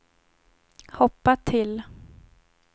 hoppa till